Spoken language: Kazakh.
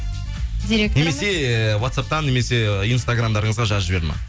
директорымыз немесе ватсаптан немесе инстаграмдарыңызға жазып жіберді ма